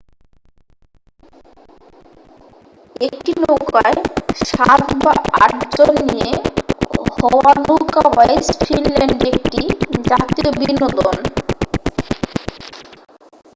একটি নৌকায় সাত বা আট জন নিয়ে হওয়া নৌকা বাইচ ফিনল্যান্ডে একটি জাতীয় বিনোদন